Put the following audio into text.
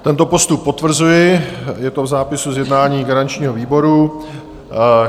Tento postup potvrzuji, je to v zápisu z jednání garančního výboru.